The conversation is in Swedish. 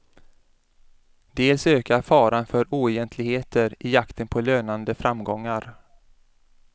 Dels ökar faran för oegentligheter i jakten på lönande framgångar.